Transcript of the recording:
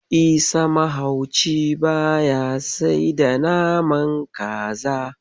Isa mahauci ba ya sai da naman kaza.